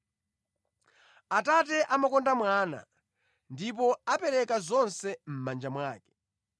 Atate amakonda Mwana ndipo apereka zonse mʼmanja mwake.